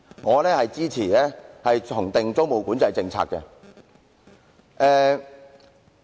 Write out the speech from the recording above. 我支持重訂租務管制政策。